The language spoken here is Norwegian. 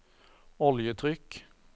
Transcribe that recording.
oljetrykk